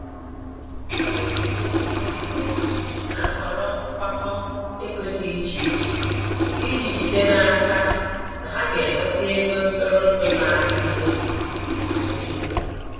Ụfọdụ ndị na-etinye ego na-ahọrọ nkwakọ ego dị iche iche iji jide n'aka na ha ga-enweta ego ntụrụndụ na-adịgide adịgide.